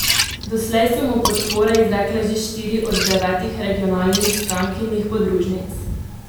Doslej so mu podpore izrekle že štiri od devetih regionalnih strankinih podružnic.